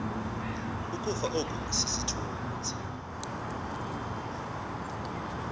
ukufa oku sisithunzi